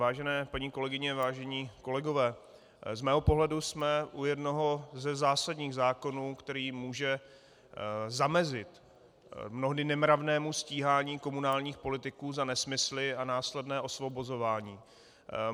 Vážené paní kolegyně, vážení kolegové, z mého pohledu jsme u jednoho ze zásadních zákonů, který může zamezit mnohdy nemravnému stíhání komunálních politiků za nesmysly a následné osvobozování.